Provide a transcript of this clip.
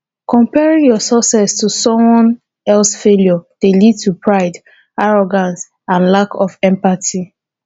comparing your success to someone else failure dey lead to pride arrogance and lack of empathy